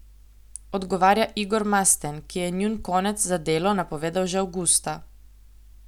Odgovarja Igor Masten, ki je njun konec za Delo napovedal že avgusta.